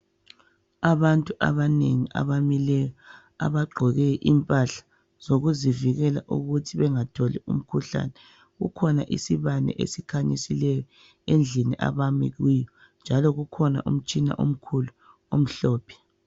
Abantu abanengi abamileyo abagqoke impahla zokuzivikela ukuthi bengatholi umkhuhlane .Kukhona isibane esikhanyisileyo endlini abami kuyo njalo kukhona umtshina omkhulu omhlophe.